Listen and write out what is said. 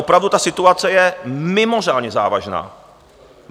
Opravdu ta situace je mimořádně závažná.